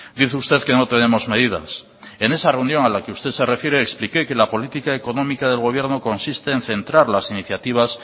dice usted que no tenemos medidas en esa reunión a la que usted se refiere expliqué que la política económica de gobierno consiste en centrar las iniciativas